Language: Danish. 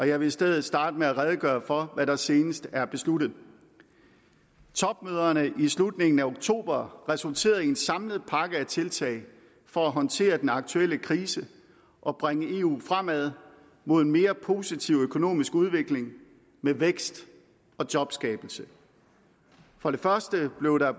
jeg vil i stedet starte med at redegøre for hvad der senest er besluttet topmøderne i slutningen af oktober resulterede i en samlet pakke af tiltag for at håndtere den aktuelle krise og bringe eu fremad mod en mere positiv økonomisk udvikling med vækst og jobskabelse for det første blev der